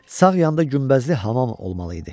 Sağ yanda günbəzli hamam olmalı idi.